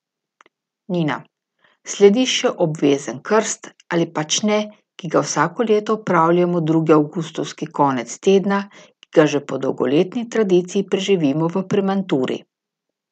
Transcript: Nina: 'Sledi še obvezen krst, ali pač ne, ki ga vsako leto opravljamo drugi avgustovski konec tedna, ki ga že po dolgoletni tradiciji preživimo v Premanturi.